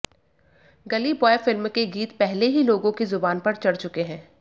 गली बॉय फिल्म के गीत पहले ही लोगों की जुबान पर चढ़ चुके हैं